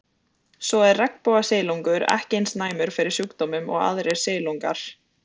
Svo er regnbogasilungur ekki eins næmur fyrir sjúkdómum og aðrir silungar.